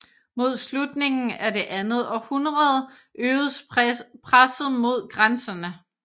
Mod slutningen af det andet århundrede øgedes presset mod grænserne